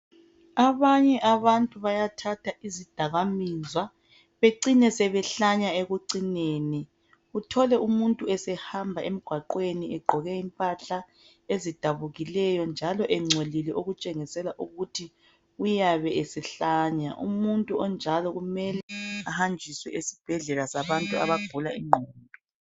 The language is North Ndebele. Abanye abantu bayathatha izidakamizwa becine sebehlanya ekucineni uthole umuntu esehamba emgwaqweni egqoke imphahla ezidabukileyo njalo engcolile okutshengisela ukuthi uyabe esehlanya umuntu onjalo kumele ehanjiswe esibhedlela sabantu abagula inqondo